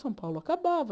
São Paulo acabava.